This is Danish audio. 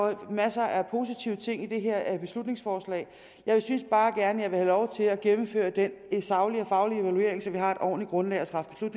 er masser af positive ting i det her beslutningsforslag jeg synes bare gerne have lov til at gennemføre den saglige og faglige evaluering så vi har et ordentligt grundlag at træffe